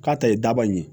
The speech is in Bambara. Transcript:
K'a ta ye daba ye